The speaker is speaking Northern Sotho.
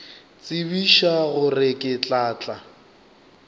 tsebiša gore ke tla tla